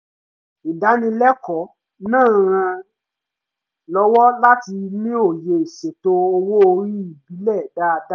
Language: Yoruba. ìdánilẹ́kọ̀ọ́ náà ràn án lọ́wọ́ láti ní òye ìṣètò owó orí ìbílẹ̀ dáadáa